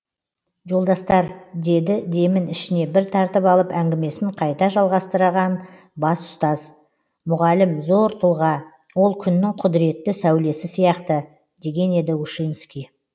жолдастар деді демін ішіне бір тартып алып әңгімесін қайта жалғастырған бас ұстаз мұғалім зор тұлға ол күннің құдіретті сәулесі сияқты деген еді ушинский